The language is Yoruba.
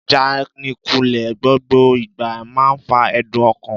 Ìjánikulè gbogbo ìgbà man fa ẹ̀dùn ọkàn l